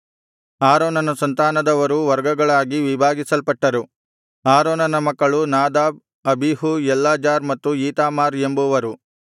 ಆರೋನನ ಸಂತಾನದವರೂ ವರ್ಗಗಳಾಗಿ ವಿಭಾಗಿಸಲ್ಪಟ್ಟರು ಆರೋನನ ಮಕ್ಕಳು ನಾದಾಬ್ ಅಬೀಹೂ ಎಲ್ಲಾಜಾರ್ ಮತ್ತು ಈತಾಮಾರ್ ಎಂಬುವರು